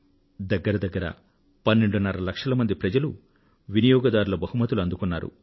దగ్గర దగ్గర పన్నెండున్నర లక్షల మంది ప్రజలు వినియోగదారుల బహుమతులు అందుకున్నారు